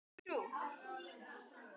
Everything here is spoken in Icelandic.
Dagur líður, nóttin færist nær.